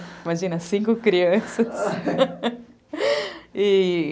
Imagina, cinco crianças, e...